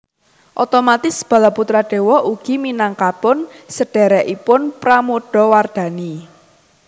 Otomatis Balaputradewa ugi minangkapun sedherekipun Pramodawardhani